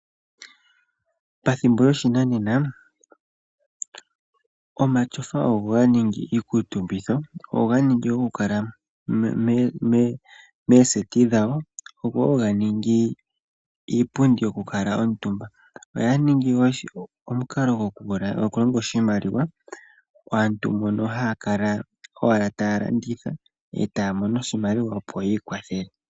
Pethimbo lyoshinanena, omatyofa ogo ga ningi iikuutumbitho. ogo ganingi goku kala meeseti dhawo, ogo wo ganingi iipundi yoku kala omutumba. Oya ningi wo omukalo gokulonga oshimaliwa kaantu mboka haa kala owala taya landitha etaya mono oshimaliwa opo yiikwathele.